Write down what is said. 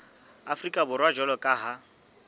afrika borwa jwalo ka ha